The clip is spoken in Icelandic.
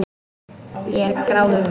Ég er gráðug.